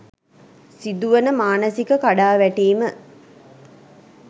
සිදුවන මානසික කඩාවැටීම